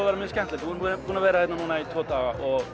vera mjög skemmtilegt við erum búin að vera hérna núna í tvo daga og